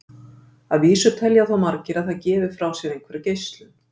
að vísu telja þó margir að það gefi frá sér einhverja geislun